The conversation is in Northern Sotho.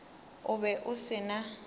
o be o se na